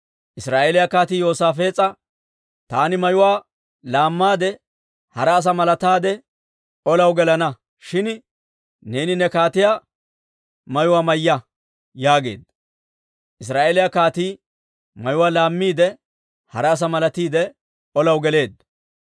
Israa'eeliyaa kaatii Yoosaafees'a, «Taani mayuwaa laammaade, hara asaa malataade, olaw gelana; shin neeni ne kaatiyaa mayuwaa mayya» yaageedda. Israa'eeliyaa kaatii mayuwaa laammiide, hara asaa malatiide, olaw geleedda.